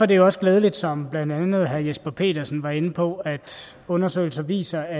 det jo også glædeligt som blandt andet herre jesper petersen var inde på at undersøgelser viser at